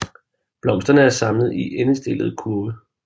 Blomsterne er samlet i endestillede kurve